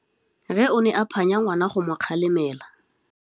Rre o ne a phanya ngwana go mo galemela.